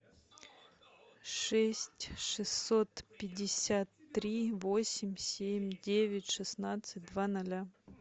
шесть шестьсот пятьдесят три восемь семь девять шестнадцать два ноля